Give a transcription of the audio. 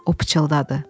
O pıçıldadı.